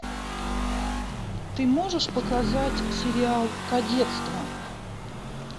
ты можешь показать сериал кадетство